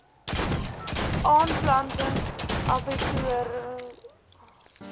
aanplanting abbatior olyf